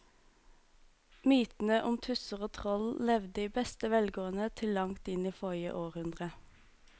Mytene om tusser og troll levde i beste velgående til langt inn i forrige århundre.